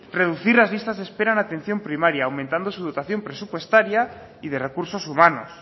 reducir las listas de espera en atención primaria aumentando la dotación presupuestaria y de recursos humanos